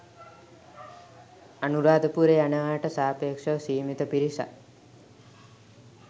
අනුරාධපුරේ යනවාට සාපේක්ෂව සීමිත පිරිසක්.